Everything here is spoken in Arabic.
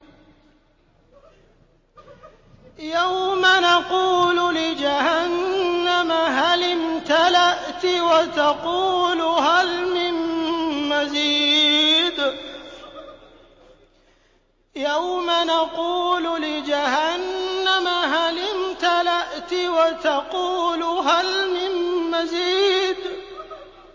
يَوْمَ نَقُولُ لِجَهَنَّمَ هَلِ امْتَلَأْتِ وَتَقُولُ هَلْ مِن مَّزِيدٍ